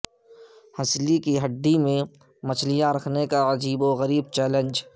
ہنسلی کی ہڈی میں مچھلیاں رکھنے کا عجیب و غریب چیلنج